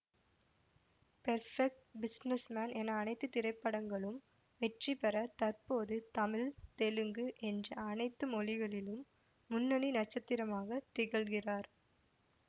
perfect business man என அனைத்து திரைப்படங்களும் வெற்றிபெற தற்போது தமிழ் தெலுங்கு என்று அனைத்து மொழிகளிலும் முன்னணி நட்சத்திரமாக திகழ்கிறார்